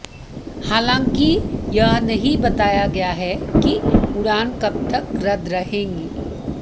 हालांकि यह नहीं बताया गया है कि उड़ान कब तक रद्द रहेंगी